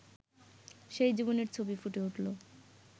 সেই জীবনের ছবি ফুটে উঠল